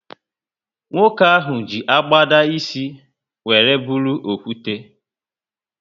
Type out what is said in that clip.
Nwoke ahụ ji agbada ísì wéré bụrụ okwute